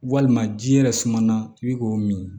Walima ji yɛrɛ suman na i bi k'o min